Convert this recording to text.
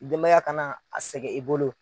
Denbaya kana a sɛgɛ i bolo.